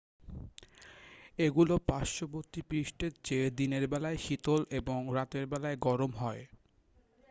"""এগুলো পার্শ্ববর্তী পৃষ্ঠের চেয়ে দিনের বেলায় শীতল এবং রাতের বেলায় গরম হয়।